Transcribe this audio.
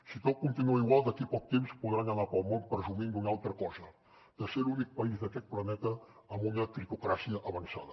si tot continua igual d’aquí a poc temps podran anar pel món presumint d’una altra cosa de ser l’únic país d’aquest planeta amb un critocràcia avançada